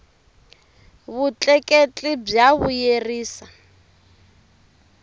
vutleketli bya vuyerisa